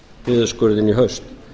niðurskurðinn í haust